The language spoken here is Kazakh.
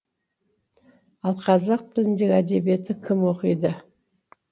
ал қазақ тіліндегі әдебиетті кім оқиды